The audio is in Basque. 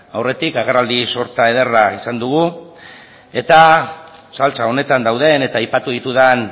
aurretik agerraldi sorta ederra izan dugu eta saltsa honetan dauden eta aipatu ditudan